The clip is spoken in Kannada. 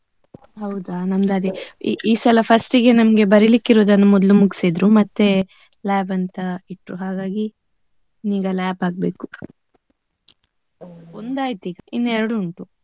ಹೌದಾ, ನಮ್ದು ಅದೇ ಈ ಈ ಸಲ first ಗೆ ನಮ್ಗೆ ಬರಿಲಿಕ್ಕೆ ಇರುದನ್ನು ಮೊದ್ಲು ಮುಗ್ಸಿದ್ರು. ಮತ್ತೆ lab ಅಂತ ಇಟ್ರು ಹಾಗಾಗಿ. ಈಗ lab ಆಗ್ಬೇಕು. ಒಂದು ಆಯ್ತು ಈಗ ಇನ್ನು ಎರಡು ಉಂಟು.